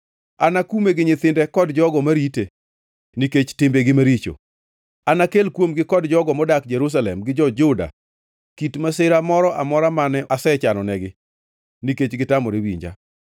Anakume gi nyithinde kod jogo marite nikech timbegi maricho; anakel kuomgi kod jogo modak Jerusalem gi jo-Juda kit masira moro amora mane asechanonegi, nikech gitamore winja.’ ”